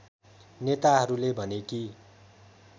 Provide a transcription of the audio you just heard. नेताहरूले भने कि